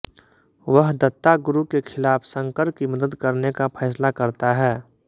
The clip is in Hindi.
वह दत्ता गुरु के खिलाफ शंकर की मदद करने का फैसला करता है